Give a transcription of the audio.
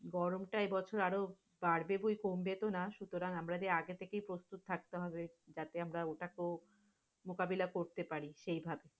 গরমটা এবছর আরো বাড়বে বো কোমবে তো না, সুতারং আমরা যে আগে থেক প্রস্তুত থাকতে হবে। যার জন্য ওটাতো মোকাবেলা করতে পারি সেইভাবে।